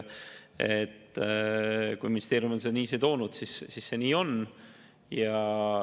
Kui ministeerium on selle nii toonud, siis see nii on.